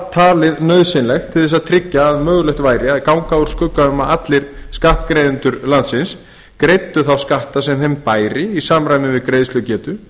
talið nauðsynlegt til þess að tryggja að mögulegt væri að ganga úr skugga um að allir skattgreiðendur landsins greiddu þá skatta sem þeim bæri í samræmi við greiðslugetu